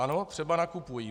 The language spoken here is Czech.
Ano, třeba nakupují.